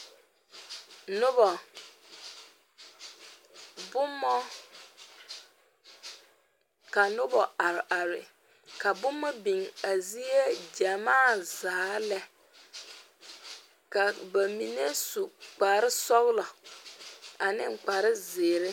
Noba, boma ka noba are are ka boma biŋ a zie gyamaa zaa lɛ ka bamine su kpare sɔglɔ ane kpare zeere.